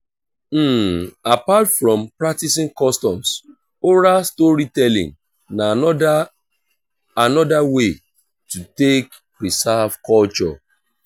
apart from practicing customs oral story telling na another another way to take preserve culture